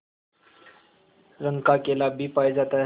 रंग का केला भी पाया जाता है